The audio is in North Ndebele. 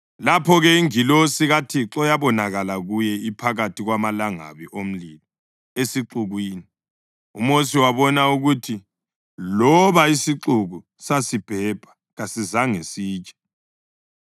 Lapho-ke ingilosi kaThixo yabonakala kuye iphakathi kwamalangabi omlilo esixukwini. UMosi wabona ukuthi loba isixuku sasibhebha kasizange sitshe.